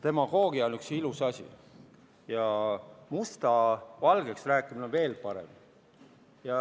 Demagoogia on üks ilus asi ja musta valgeks rääkimine on veel parem.